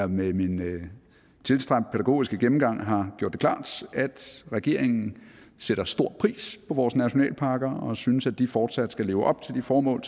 med min tilstræbt pædagogiske gennemgang har gjort det klart at regeringen sætter stor pris på vores nationalparker og synes at de fortsat skal leve op til de formål